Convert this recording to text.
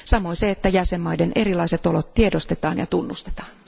Samoin se, että jäsenvaltioiden erilaiset olot tiedostetaan ja tunnustetaan.